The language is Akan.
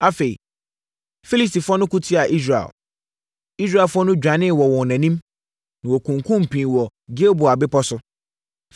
Afei, Filistifoɔ no ko tiaa Israel. Israelfoɔ no dwanee wɔ wɔn anim, na wɔkunkumm pii wɔ Gilboa bepɔ so.